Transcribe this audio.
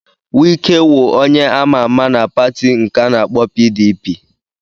Wike wụ onye a ma-ama na pati nke a na-akpọ PDP.